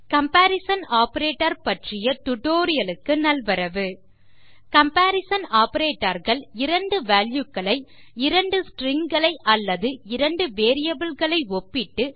comparison operators பற்றிய tutorial க்கு நல்வரவு கம்பரிசன் ஆப்பரேட்டர்ஸ் இரண்டு வால்யூ களை 2 ஸ்ட்ரிங் களை அல்லது 2 வேரியபிள் களை ஒப்பிட்டு